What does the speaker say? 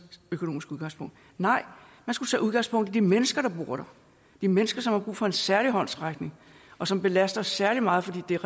økonomiske udgangspunkt nej man skulle tage udgangspunkt i de mennesker der bor der de mennesker som har brug for en særlig håndsrækning og som belaster særlig meget fordi der